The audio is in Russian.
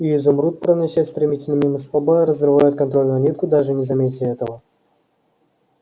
и изумруд проносясь стремительно мимо столба разрывает контрольную нитку даже не заметя этого